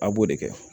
A b'o de kɛ